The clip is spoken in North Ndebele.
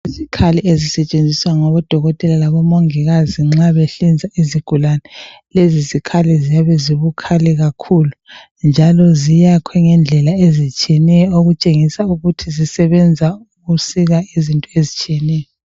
Izikhali ezisetshenziswa ngabodokotela labomongikazi nxa behlinza izigulani, lezi zikhali ziyabe zibukhali kakhulu njalo ziyakhwe ngendlela ezitshiyeneyo okutshengisa ukuthi zisebenza ukusika izinto ezitshiyeneyo.